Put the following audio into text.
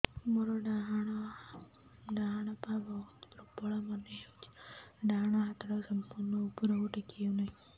ମୋର ଡାହାଣ ପାଖ ବହୁତ ଦୁର୍ବଳ ମନେ ହେଉଛି ଡାହାଣ ହାତଟା ସମ୍ପୂର୍ଣ ଉପରକୁ ଟେକି ହେଉନାହିଁ